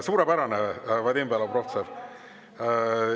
Suurepärane, Vadim Belobrovtsev!